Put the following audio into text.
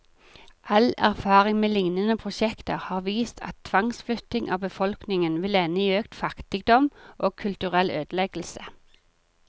All erfaring med lignende prosjekter har vist at tvangsflytting av befolkningen vil ende i økt fattigdom, og kulturell ødeleggelse.